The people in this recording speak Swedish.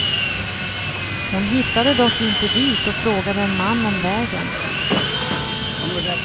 Hon hittade dock inte dit och frågade en man om vägen.